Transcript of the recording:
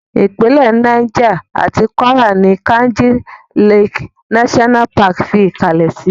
Ìpínlẹ̀ Niger àti Kwara ní Kainji Lake National Park fi ìkalẹ̀ sí.